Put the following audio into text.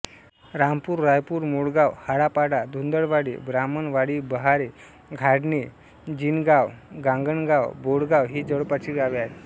रामपूर रायपूर मोडगाव हाळापाडा धुंदळवाडी ब्राह्मणवाडीबहारे घाडणे जिनगावगांगणगाव बोडगाव ही जवळपासची गावे आहेत